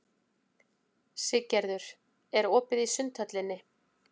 Siggerður, er opið í Sundhöllinni?